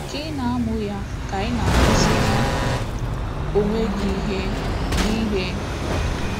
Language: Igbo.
Ka ị na-amụ ya, ka ị na-akụziri onwe gị ihe gị ihe.